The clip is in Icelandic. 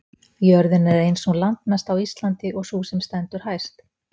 jörðin er ein sú landmesta á íslandi og sú sem stendur hæst